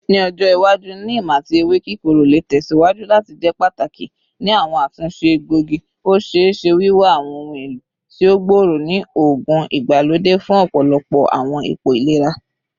Ni ojo iwaju, neem ati ewe kikoro le tẹsiwaju lati jẹ pataki ni awọn atunṣe egboigi, o ṣee ṣe wiwa awọn ohun elo ti o gbooro ni oogun igbalode fun ọpọlọpọ awọn ipo ilera.